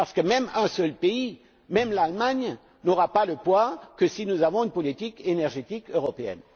Parce qu'un seul pays, même l'Allemagne, n'aura du poids que si nous avons une politique énergétique européenne.